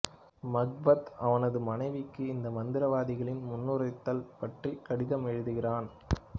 Macbeth அவனது மனைவிக்கு இந்த மந்திரவாதிகளின் முன்னுரைத்தல் பற்றி கடிதம் எழுதுகிறான்